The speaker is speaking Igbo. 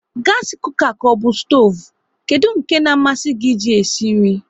Gasi kuka ka ọbụ stoovu, kedụ nke ka amasị gị e ji sie nri?